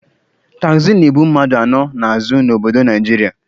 Taxi na-ebu mmadụ anọ n'azụ n'obodo Naijiria.